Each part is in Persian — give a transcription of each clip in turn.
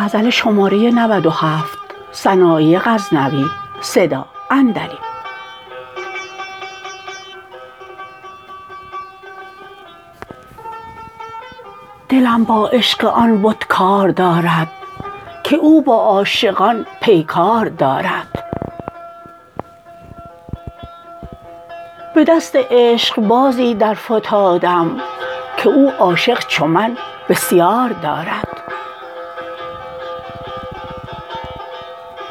دلم با عشق آن بت کار دارد که او با عاشقان پیکار دارد به دست عشقبازی در فتادم که او عاشق چو من بسیار دارد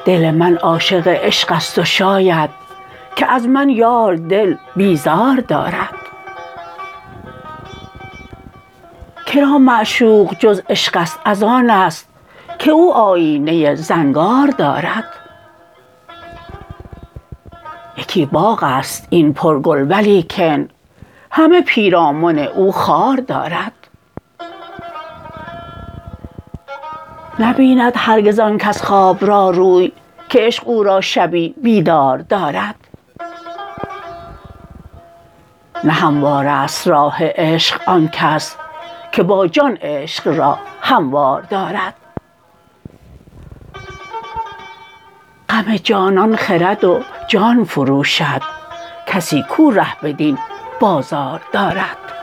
دل من عاشق عشقست و شاید که از من یار دل بیزار دارد کرا معشوق جز عشقست از آنست که او آیینه زنگار دارد یکی باغست این پر گل ولیکن همه پیرامن او خار دارد نبیند هرگز آنکس خواب را روی که عشق او را شبی بیدار دارد نه هموارست راه عشق آنکس که با جان عشق را هموار دارد غم جانان خرد و جان فروشد کسی کو ره بدین بازار دارد